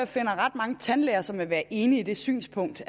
finder ret mange tandlæger som vil være enige i det synspunkt